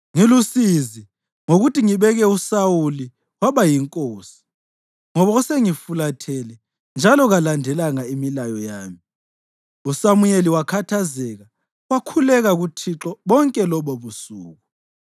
“Ngilusizi ngokuthi ngibeke uSawuli waba yinkosi, ngoba usengifulathele njalo kalandelanga imilayo yami.” USamuyeli wakhathazeka, wakhuleka kuThixo bonke lobobusuku.